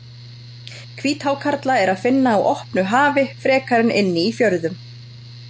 Hvíthákarla er að finna á opnu hafi frekar en inni í fjörðum.